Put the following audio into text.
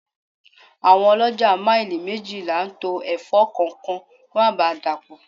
Àwọn olójà maili méjìlá to Ẹ̀fọ́ kọ̀ọ̀kan kó má ba dapo.